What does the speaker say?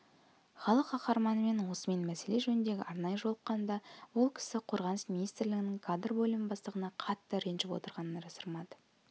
халық қаһарманымен осы мәселе жөнінде арнайы жолыққанымда ол кісі қорғаныс министрлігінің кадр бөлімі бастығына қатты ренжіп отырғанын жасырмады